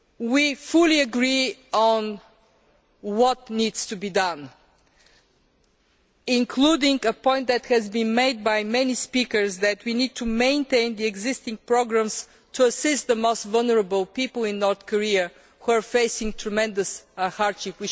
We fully agree on what needs to be done, including a point that has been made by many speakers that we need to maintain the existing programmes to assist the most vulnerable people in North Korea, who are facing tremendous hardship.